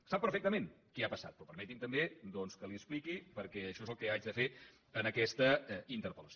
sap perfectament què ha passat però permeti’m també doncs que li ho expliqui perquè això és el que haig de fer en aquesta interpel·lació